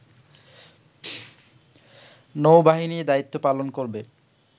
নৌ-বাহিনী দায়িত্ব পালন করবে